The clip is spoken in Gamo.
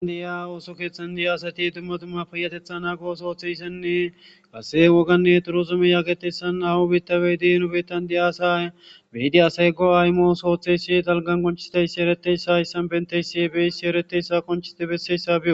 Adiya ooso keeththan diya asati dumma tumma payatetha naago sooththeyssenne passe woganne turozume yaaketessan ahu biittawey diinu bettan di'a asa medi asaygo aymoos ooththeyssi dalgan konchisdayssi ereteyssa yssan benteysi ebeysi ereteyssa qonchisti besseyssa bio